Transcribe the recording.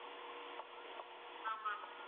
ஆமாம் ma'am